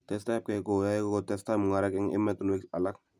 testai ab kei koyae ko testai mungaret eng' ematinwek alak